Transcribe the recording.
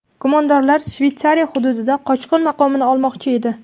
Gumondorlar Shveysariya hududida qochqin maqomini olmoqchi edi.